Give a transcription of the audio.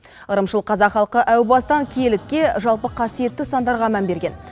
ырымшыл қазақ халқы әу бастан киелілікке жалпы қасиетті сандарға мән берген